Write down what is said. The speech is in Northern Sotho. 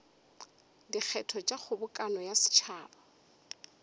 dikgetho tša kgobokano ya setšhaba